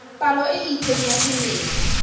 palo e itseng ya dimela